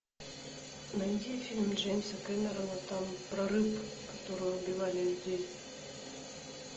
найди фильм джеймса кэмерона там про рыб которые убивали людей